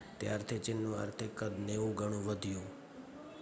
ત્યારથી ચીનનું આર્થિક કદ 90 ગણું વધ્યું